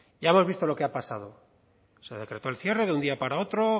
ya hemos visto lo que ha pasado se decretó el cierre de un día para otro